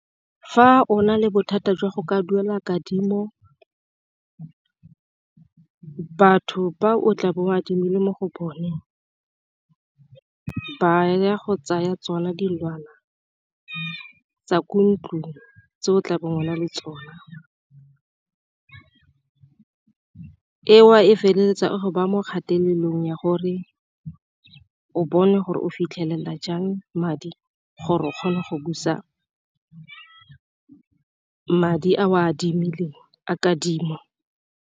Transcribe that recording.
Fa o na le bothata jwa go ka duela kadimo batho ba o tla bo adimile mo go bone ba ya go tsaya tsona dilwana tsa ko ntlong tse go tlabo o na le tsona, eo e feleletsa e go ba mo kgatelelong ya gore o bone gore o fitlhelela jang madi gore o kgone go busa madi a o a adimileng a kadimo.